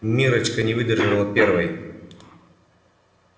миррочка не выдержала первой